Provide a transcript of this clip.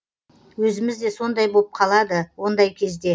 өзіміз де сондай боп қалады ондай кезде